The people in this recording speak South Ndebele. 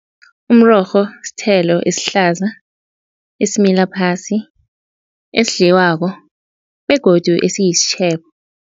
Umrorho sithelo esihlaza esimila phasi esidliwako begodu esiyisitjhebo.